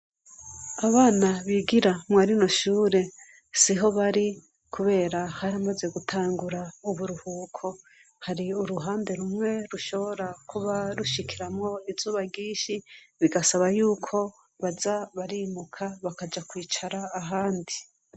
Abana bigira mwarino shure si ho bari, kubera haramaze gutangura uburuhuko hari uruhande rumwe rushobora kuba rushikiramwo izuba ryinshi bigasaba yuko baza barinuka bakaja kwicara ahandi.